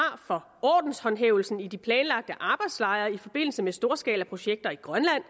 for ordenshåndhævelsen i de planlagte arbejdslejre i forbindelse med storskalaprojekter i grønland